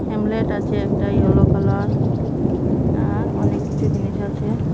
Hamlet আছে একটা yellow colour আর অনেক কিছু জিনিস আছে।